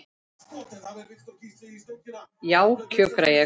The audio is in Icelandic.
Já, kjökra ég.